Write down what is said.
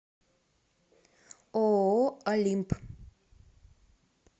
ооо олимп